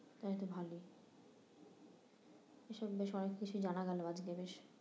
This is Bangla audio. তালে তো ভালোই এসব বিষয়ে অনেক কিছুই জানা গেলো আজকে বেশ